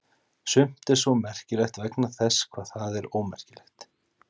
Sumt er svo merkilegt vegna þess hvað það er ómerkilegt.